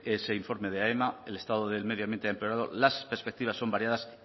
ese informe de aema el estado del medio ambiente ha empeorado las perspectivas son variadas